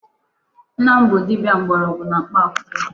Nna m bụ dibịa mgbọrọgwụ na mkpa akwụkwọ.